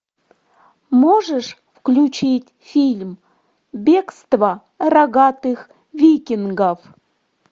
можешь включить фильм бегство рогатых викингов